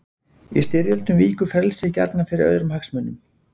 Í styrjöldum víkur frelsið gjarnan fyrir öðrum hagsmunum.